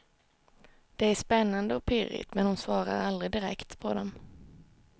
Det är spännande och pirrigt, men hon svarar aldrig direkt på dem.